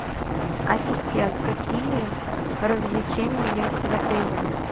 ассистент какие развлечения есть в отеле